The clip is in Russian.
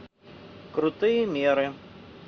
крутые меры